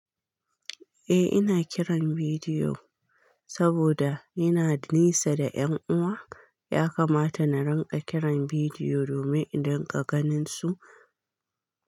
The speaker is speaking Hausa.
Eh ina kiran bidiyo saboda ina nisa da 'yan uwa ya kamata na rinƙa kiran bidiyo domin in rinƙa ganin su.